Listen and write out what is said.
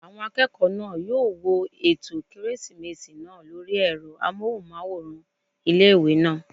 Àwọn akẹ́kọ̀ọ́ náà yóò wo ètò kérésìmesì náà lórí ẹ̀rọ amóhùnmáwòrán ilé-ìwé náà